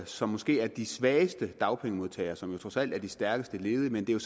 som måske er de svageste dagpengemodtagere som jo trods alt er de stærkeste ledige